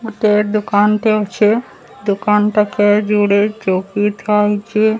ଗୋଟେ ଦୋକାନ ଟେ ଅଛି ଦୋକାନ ପାଖେ ଯୋଡେ ଚୋକି ଥୁଆହୋଇଛି।